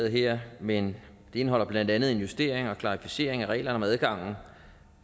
her men det indeholder blandt andet en justering og klarificering af reglerne om adgangen